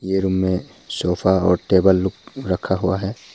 ये रूम में सोफा और टेबल लोग रखा हुआ है।